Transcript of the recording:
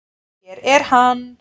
Hér er hann.